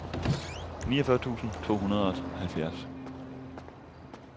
niogfyrre tusind to hundrede og halvfjerds